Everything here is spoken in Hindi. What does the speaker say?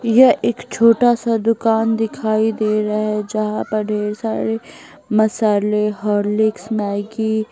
यह एक छोटा सा दुकान दिखाई दे रहा है जहां पर ढेर सारे मसाले हॉर्लिक्स मैग्गी --